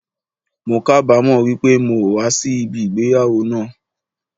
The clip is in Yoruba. Mo kábamo wípé mi o wa sí ìgbéyàwó náà àn